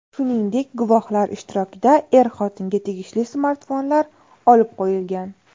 Shuningdek, guvohlar ishtirokida er-xotinga tegishli smartfonlar olib qo‘yilgan.